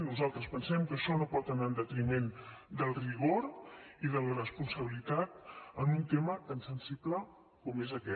nosaltres pensem que això no pot anar en detriment del rigor i de la responsabilitat en un tema tan sensible com és aquest